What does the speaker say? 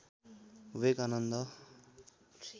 वेग आनन्द